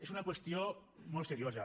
és una qüestió molt seriosa